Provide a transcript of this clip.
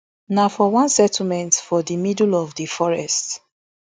na for one settlement for di middle of di forest